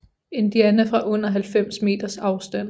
Indiana fra under 90 meters afstand